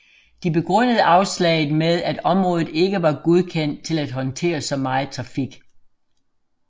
De begrundede afslaget med at området ikke var godkendt til at håndtere så meget trafik